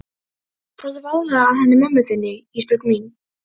Farðu varlega að henni mömmu þinni Ísbjörg mín.